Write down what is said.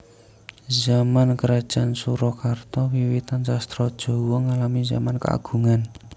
Zaman krajan Surakarta wiwitan sastra Jawa ngalami zaman keagungan